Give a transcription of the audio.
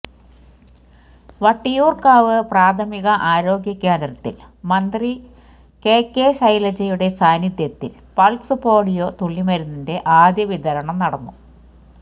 വട്ടിയൂർക്കാവ് പ്രാഥമിക ആരോഗ്യ കേന്ദ്രത്തിൽ മന്ത്രി കെ കെ ശൈലജയുടെ സാന്നിധ്യത്തിൽ പൾസ് പോളിയോ തുളളിമരുന്നിന്റെ ആദ്യ വിതരണം നടന്നു